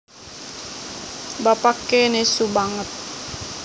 Bapaké nesu banget